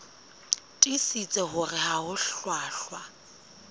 tiisitse hore ha ho hlwahlwa